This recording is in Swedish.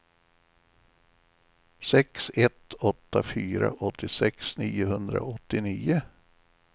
sex ett åtta fyra åttiosex niohundraåttionio